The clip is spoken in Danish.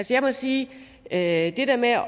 jeg må sige at det der med at